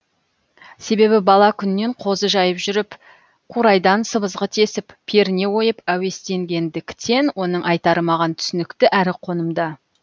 себебі бала күннен қозы жайып жүріп қурайдан сыбызғы тесіп перне ойып әуестенгендіктен оның айтары маған түсінікті әрі қонымды